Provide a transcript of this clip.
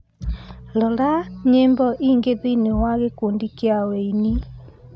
rora nyĩmbo ingĩ thĩinĩ wa gĩkundi kĩa wũini